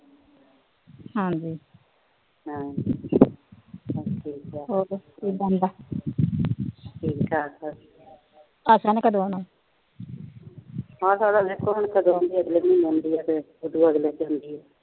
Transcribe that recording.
ਆਸ਼ਾ ਦਾ ਦੇਖੋ ਆਉਂਦੀ ਕ ਉਹਤੋ ਅਗਲੇ